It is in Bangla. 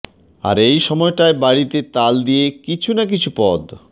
আর এই সময়টায় বাড়িতে তাল দিয়ে কিছু না কিছু পদ